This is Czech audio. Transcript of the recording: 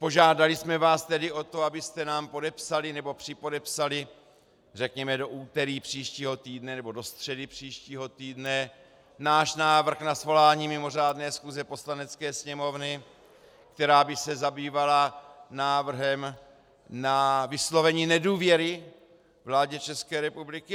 Požádali jsme vás tedy o to, abyste nám podepsali, nebo připodepsali řekněme do úterý příštího týdne nebo do středy příštího týdne náš návrh na svolání mimořádné schůze Poslanecké sněmovny, která by se zabývala návrhem na vyslovení nedůvěry vládě České republiky.